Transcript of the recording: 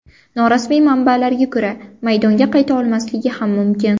Norasmiy manbalarga ko‘ra maydonga qayta olmasligi ham mumkin.